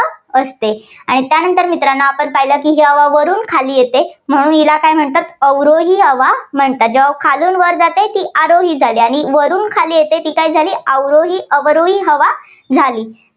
असते. आणि त्यानंतर मित्रांनो आपण पाहिलं की हवा वरून खाली येते म्हणून हिला काय म्हणतात अवरोही हवा म्हणतात. जेव्हा खालून वर जाते ती अरोही झाली आणि वरून खाली येते ती काय झाली अवरोही अवरोही हवा झाली.